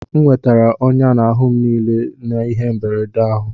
M nwetara ọnyá n'ahụ m n'ihi ihe mberede ahụ